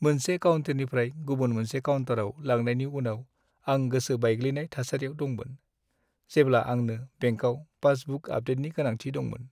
मोनसे काउन्टारनिफ्राय गुबुन मोनसे काउन्टाराव लांनायनि उनाव आं गोसो बायग्लिनाय थासारियाव दंमोन, जेब्ला आंनो बेंकाव पासबुक आपडेटनि गोनांथि दंमोन।